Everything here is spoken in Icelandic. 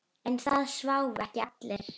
En það sváfu ekki allir.